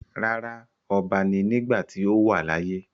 Rárá, ọba ni nígbàtí ó wà láyé.